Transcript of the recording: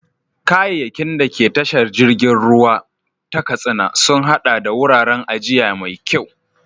Kayayyakin da ke tashar jirgin ruwa ta Katsina sun haɗa da wuraren ajiya mai yawa.